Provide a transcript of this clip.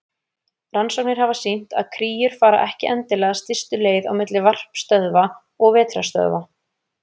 Rannsóknir hafa sýnt að kríur fara ekki endilega stystu leið á milli varpstöðva og vetrarstöðva.